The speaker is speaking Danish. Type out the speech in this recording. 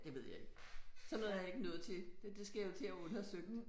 Det ved jeg ikke. Sådan noget er jeg ikke nået til det det skal jeg til at have undersøgt